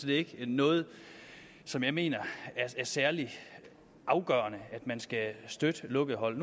ikke noget som jeg mener er særlig afgørende at man skal støtte lukkede hold